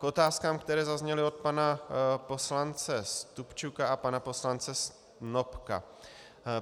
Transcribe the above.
K otázkám, které zazněly od pana poslance Stupčuka a pana poslance Snopka.